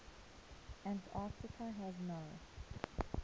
antarctica has no